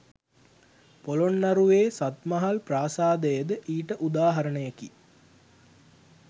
පොළොන්නරුවේ සත්මහල් ප්‍රාසාදයද ඊට උදාහරණයකි.